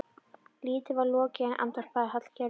Lítið var lokið er, andvarpaði Hallgerður.